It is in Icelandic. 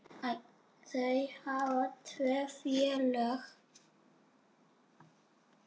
Þeir hafa tvö félög.